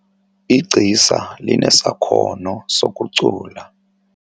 Igcisa linesakhono sokucula.